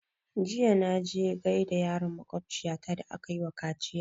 Jiya na je gaida yaron makwabciya ta da aka yi wa kaciya